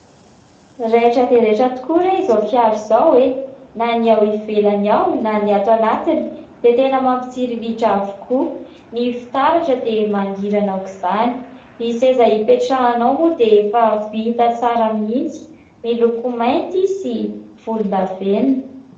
Raitra dia raitra tokoa raha izao fiara izao hoe na ny ao ivelany na ny ato anatiny dia tena mampitsiriritra avokoa. Ny fitaratra dia mangirana aoka izany, ny seza hipetrahanao moa dia efa vita tsara mihitsy, miloko mainty sy volondavenona.